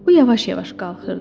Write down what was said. O yavaş-yavaş qalxırdı.